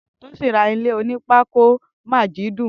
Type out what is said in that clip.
Tosin rà ilé ónìpàkó ni Majidun lọsẹ tó kọjá